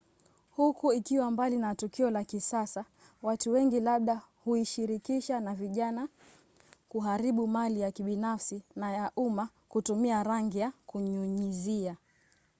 huku ikiwa mbali na tukio la kisasa watu wengi labda huishirikisha na vijana kuharibu mali ya kibinafsi na ya umma kutumia rangi ya kunyunyizia